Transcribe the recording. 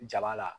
Jaba la